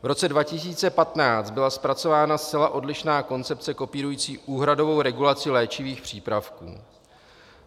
V roce 2015 byla zpracována zcela odlišná koncepce kopírující úhradovou regulaci léčivých přípravků.